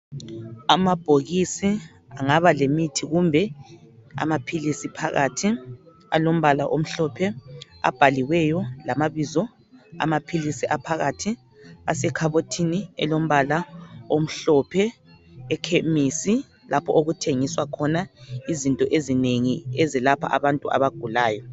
Amabhokisi angaba lemithi kumbe amaphilisi phakathi alombala omhlophe abhaliweyo lamabizo amaphilisi aphakathi asekhabothini elombala omhlophe ekhemisi lapho okuthengiswa khona izinto ezinengi ezelapha abantu abagulayo.